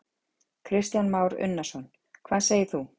Kristján Már Unnarsson: Hvað segir þú?